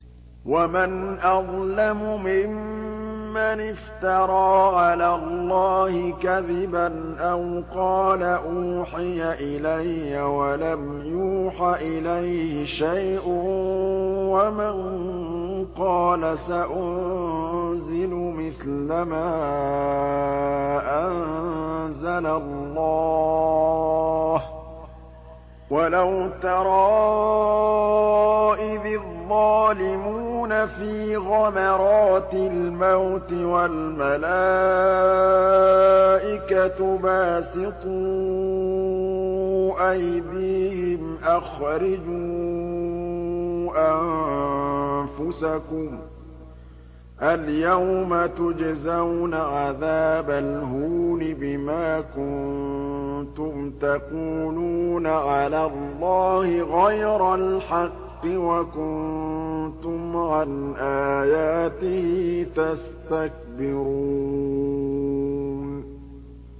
وَمَنْ أَظْلَمُ مِمَّنِ افْتَرَىٰ عَلَى اللَّهِ كَذِبًا أَوْ قَالَ أُوحِيَ إِلَيَّ وَلَمْ يُوحَ إِلَيْهِ شَيْءٌ وَمَن قَالَ سَأُنزِلُ مِثْلَ مَا أَنزَلَ اللَّهُ ۗ وَلَوْ تَرَىٰ إِذِ الظَّالِمُونَ فِي غَمَرَاتِ الْمَوْتِ وَالْمَلَائِكَةُ بَاسِطُو أَيْدِيهِمْ أَخْرِجُوا أَنفُسَكُمُ ۖ الْيَوْمَ تُجْزَوْنَ عَذَابَ الْهُونِ بِمَا كُنتُمْ تَقُولُونَ عَلَى اللَّهِ غَيْرَ الْحَقِّ وَكُنتُمْ عَنْ آيَاتِهِ تَسْتَكْبِرُونَ